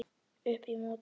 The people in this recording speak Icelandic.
Upp í móti.